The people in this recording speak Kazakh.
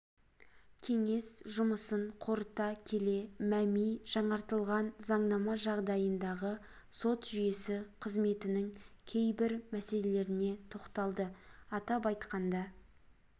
кеңес жұмысын қорыта келе мәми жаңартылған заңнама жағдайындағы сот жүйесі қызметінің кейбір мәселелеріне тоқталды атап айтқанда